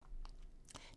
DR2